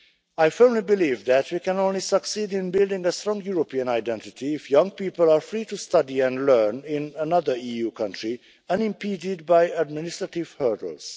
I firmly believe that we can only succeed in building a strong European identity if young people are free to study and learn in another EU country, unimpeded by administrative hurdles.